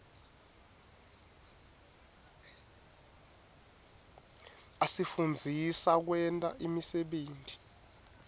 asifundzisa kwenta imisebenti